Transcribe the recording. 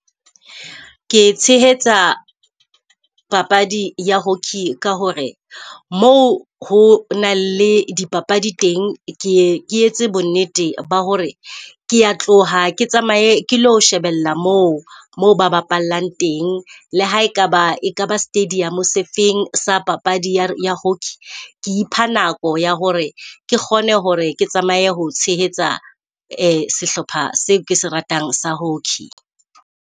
Ke tshehetsa papadi ya hockey ka hore moo ho na le dipapadi teng, keye ke etse bonnete ba hore kea tloha, ke tsamaye ke lo shebella mo moo ba bapallang teng. Le ha e kaba e kaba stadium se feng sa papadi ya hockey ke ipha nako ya hore ke kgone hore ke tsamaye ho tshehetsa sehlopha seo ke se ratang sa hockey.